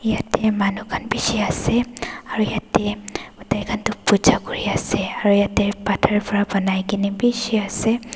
yati manu kan beshi ase aru yati taikan tu pooja kuri ase aru yati bator para banai kina beshi ase.